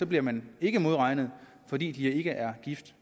bliver man ikke modregnet fordi de ikke er gift